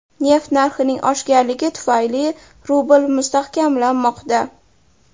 Neft narxining oshganligi tufayli rubl mustahkamlanmoqda.